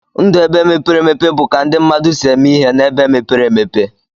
Ndụ ebe mepere emepe bu ka ndi mmadụ si eme ihe na ebe mepere emepe.